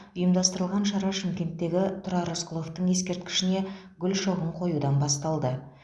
ұйымдастырылған шара шымкенттегі тұрар рысқұловтың ескерткішіне гүл шоғын қоюдан басталды